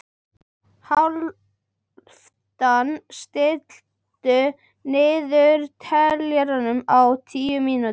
Hálfdan, stilltu niðurteljara á níu mínútur.